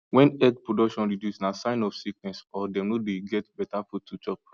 when egg production reduce na sign of sickness or dem no dey get better food to chop